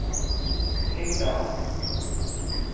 Lyngdal